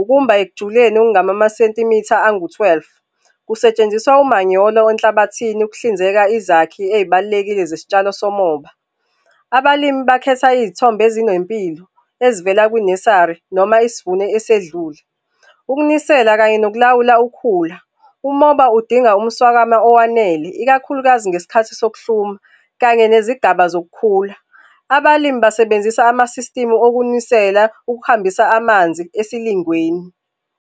ukumba ekujuleni okungamamasentimitha angu-twelve. Kusetshenziswa umanyolo wenhlabathini ukuhlinzeka izakhi ey'balulekile zesitshalo somoba. Abalimi bakhetha iy'thombo ezinempilo ezivela kwi-nessary noma isivuno esedlule. Ukunisela kanye nokulawula ukhula, umoba udinga umswakamo owanele, ikakhulukazi ngesikhathi sokuhluma, kanye nezigaba zokukhula. Abalimi basebenzisa ama-system okunisela ukuhambisa amanzi esilingweni.